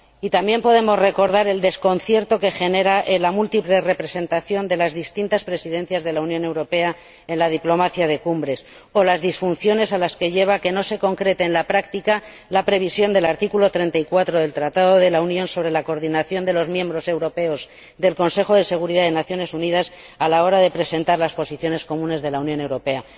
Y también podemos recordar el desconcierto que genera la múltiple representación de las distintas Presidencias de la Unión Europea en la diplomacia de las cumbres, o las disfunciones a las que lleva que no se concrete en la práctica la previsión del artículo 34 del Tratado de la Unión sobre la coordinación de los miembros europeos del Consejo de Seguridad de las Naciones Unidas a la hora de presentar las posiciones comunes de la Unión Europea.